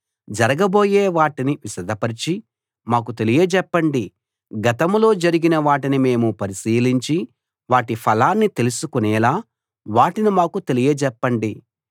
జరగబోయే వాటిని విశదపరచి మాకు తెలియజెప్పండి గతంలో జరిగిన వాటిని మేం పరిశీలించి వాటి ఫలాన్ని తెలుసుకునేలా వాటిని మాకు తెలియజెప్పండి